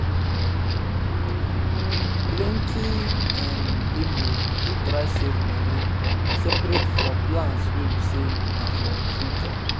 plenty um people dey try save money separate for plans wey be say na for um future